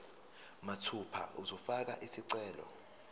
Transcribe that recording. mathupha uzofaka isicelo